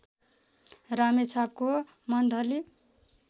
रामेछापको monthly